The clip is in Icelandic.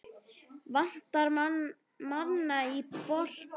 Vantar mann í bolta?